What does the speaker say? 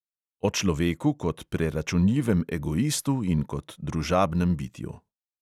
O človeku kot preračunljivem egoistu in kot družabnem bitju.